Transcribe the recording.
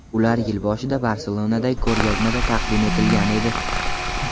Ular yil boshida Barselonadagi ko‘rgazmada taqdim etilgan edi.